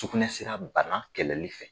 Sugunɛ sira bana kɛlɛli fɛ.